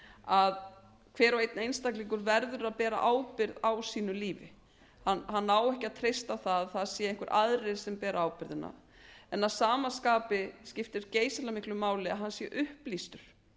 að hver og einn einstaklingur verður að bera ábyrgð á sínu lífi hann á ekki að treyst á það að það séu einhverjir aðrir sem beri ábyrgðina en að sama skapi skiptir geysilega miklu máli að hann sé upplýstur